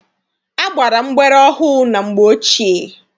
A gbara mgbere ohu na mgbe ochie.